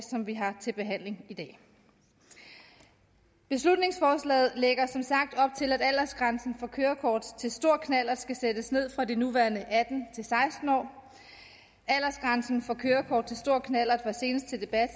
som vi har til behandling i dag beslutningsforslaget lægger som sagt op til at aldersgrænsen for kørekort til stor knallert skal sættes ned fra de nuværende atten år aldersgrænsen for kørekort til stor knallert var senest til debat